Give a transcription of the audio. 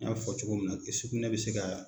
N y'a fɔ cogo min na sugunɛ bɛ se ka